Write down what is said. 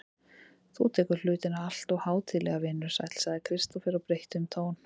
Þú tekur hlutina alltof hátíðlega, vinur sæll, sagði Kristófer og breytti um tón.